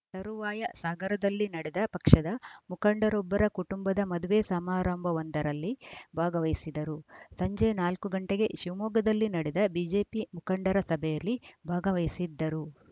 ತರುವಾಯ ಸಾಗರದಲ್ಲಿ ನಡೆದ ಪಕ್ಷದ ಮುಖಂಡರೊಬ್ಬರ ಕುಟುಂಬದ ಮದುವೆ ಸಮಾರಂಭವೊಂದರಲ್ಲಿ ಭಾಗವಹಿಸಿದರು ಸಂಜೆ ನಾಲ್ಕು ಗಂಟೆಗೆ ಶಿವಮೊಗ್ಗದಲ್ಲಿ ನಡೆದ ಬಿಜೆಪಿ ಮುಖಂಡರ ಸಭೆಯಲ್ಲಿ ಭಾಗವಹಿಸಿದ್ದರು